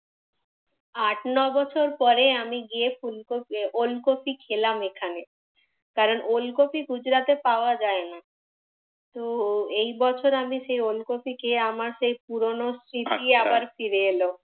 আট নয় বছর পরে আমি গিয়ে ওল কফি খেলাম এখানে। কারণ ওল কফি গুজরাতে পাওয়া যায় না। তো এই বছর আমি সেই ওল কফি খেয়ে আমার সেই পুরনো স্মৃতি আবার ফিরে এল।